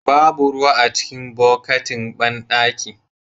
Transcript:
Babu ruwa a cikin bukatin banɗakin.